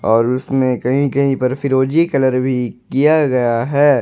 और उसमें कहीं कहीं पर फिरोजी कलर भी किया गया है।